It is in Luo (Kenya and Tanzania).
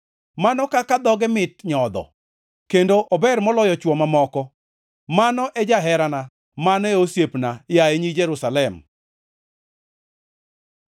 Mano kaka dhoge mit nyodho, kendo ober moloyo chwo mamoko. Mano e jaherana, mano e osiepna, yaye nyi Jerusalem.